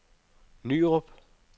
Nyrup